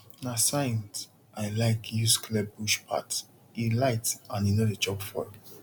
na scythe i like use clear bush pathe light and e no dey chop fuel